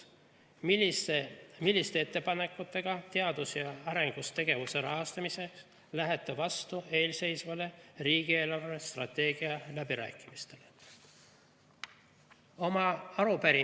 Kuuendaks, milliste ettepanekutega teadus‑ ja arendustegevuse rahastamiseks lähete vastu eelseisvatele riigi eelarvestrateegia läbirääkimistele?